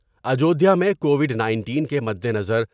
اجودھیا میں covid nineteen کے مدِنظر۔